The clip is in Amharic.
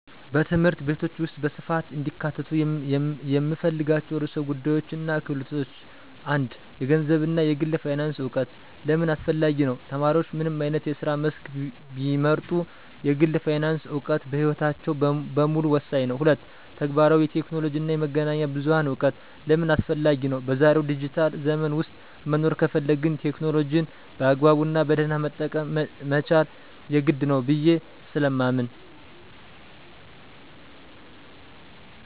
በትምህርት ቤቶች ውስጥ በስፋት እንዲካተቱ የምፈልጋቸው ርዕሰ ጉዳዮችና ክህሎቶች፦ 1. የገንዘብ እና የግል ፋይናንስ እውቀት * ለምን አስፈላጊ ነው? ተማሪዎች ምንም አይነት የስራ መስክ ቢመርጡ፣ የግል ፋይናንስ እውቀት በሕይወታቸው በሙሉ ወሳኝ ነው። 2. ተግባራዊ የቴክኖሎጂ እና የመገናኛ ብዙሃን እውቀት * ለምን አስፈላጊ ነው? በዛሬው ዲጂታል ዘመን ውስጥ መኖር ከፈለግን፣ ቴክኖሎጂን በአግባቡና በደህና መጠቀም መቻል የግድ ነው ብየ ስለማምን።